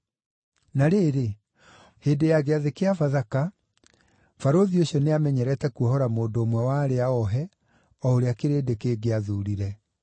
Na rĩrĩ, hĩndĩ ya Gĩathĩ kĩa Bathaka, barũthi ũcio nĩamenyerete kuohora mũndũ ũmwe wa arĩa oohe, o ũrĩa kĩrĩndĩ kĩngĩathuurire.